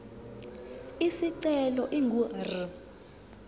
isicelo ingu r